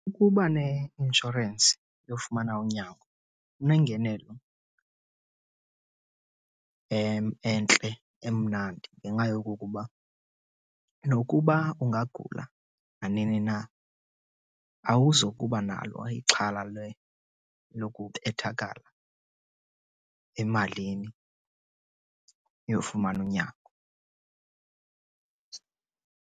Ukuba neinshorensi yofumana unyango kunengenelo entle emnandi ngenxa yokokuba nokuba ungagula nanini na awuzukuba nalo ixhala lokubethakala emalini yofumana unyango.